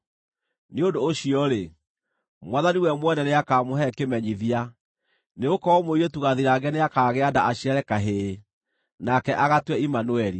Nĩ ũndũ ũcio-rĩ, Mwathani we mwene nĩakamũhe kĩmenyithia: Nĩgũkorwo mũirĩtu gathirange nĩakagĩa nda aciare kahĩĩ, nake agatue Imanueli.